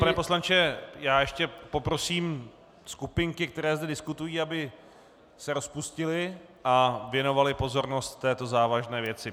Pane poslanče, já ještě poprosím skupinky, které zde diskutují, aby se rozpustily a věnovaly pozornost této závažné věci.